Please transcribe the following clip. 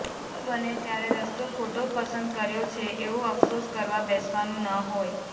આવું બને ત્યારે રસ્તો ખોટો પસંદ કર્યો છે એવો અફસોસ કરવા બેસવાનું ન હોય